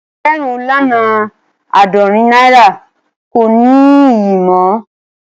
Ẹgbérùn lọ́nà aádọ́rìn naira kò ní ìyè mọ